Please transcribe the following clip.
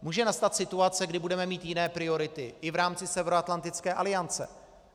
Může nastat situace, kdy budeme mít jiné priority i v rámci Severoatlantické aliance.